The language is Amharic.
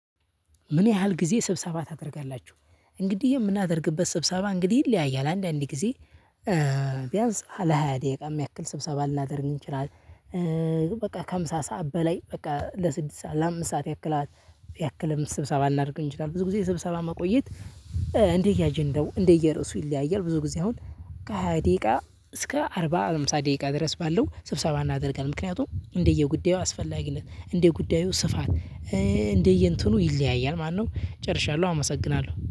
ምን ያህል ጊዜ ስብሰባ ታደርጋላችሁ? እንግዲህ የምናደርግበት ስብሰባ እንግዲህ ይለያያል አንዳንዴ ጊዜ ለ ሃያ ደቂቃ የሚያክል ስብሰባ ልናደርግ እንችላለን። በቃ ከምሳ ሰዓት በላይ በቃ ለስድስት ሰዓት ለአምስት ሰዓት ያክል ያክልም ስብሰባ ልናደርግ እንችላለን። ብዙ ጊዜ ስብሰባ መቆየት እንደ አጀንዳው እንደ የዕርሱ ይለያያል። ብዙ ጊዜ አሁን ከሃያ ደቂቃ እስከ አርባ አምሳ ደቂቃ ድረስ ባለው ስብሰባ እናደርጋለን። ምክንያቱም እንደየጉዳዩ አስፈላጊነት እንደ ጉዳዩ ስፋት እንደየእንትኑ ይለያያል። ማነው? ጨርሻለሁ አመሰግናለሁ